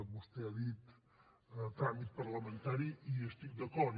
vostè ha dit tràmit parlamentari i hi estic d’acord